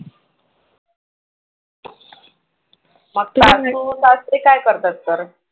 मग तुझे सासू सासरे काय करतात खरं?